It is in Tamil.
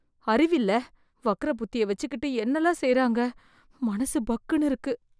அறிவியல்ல வக்ர புத்தி யை வெச்சுக்கிட்டு என்னெலாம் செய்யறாங்க. மனசு பக்குனு இருக்கு